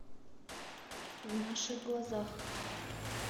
в наших глазах